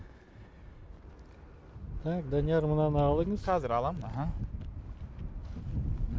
так данияр мынаны алыңыз қазір аламын аха